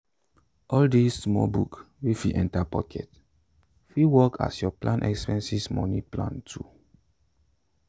all sis small book wey fit enter pocket fit work as your farm expenses money plan tool.